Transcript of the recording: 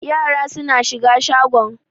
Yara suna shiga shagon.